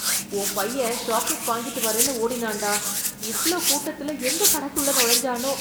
உன் பையன், சாக்லெட் வாங்கிட்டு வர்றேன்னு ஓடினான்டா... இவ்ளோ கூட்டத்துல, எந்தக் கடைக்குள்ள நுழைஞ்ஜானோ...